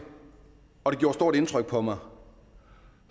og det gjorde stort indtryk på mig